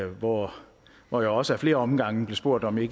hvor hvor jeg også af flere omgange blev spurgt om jeg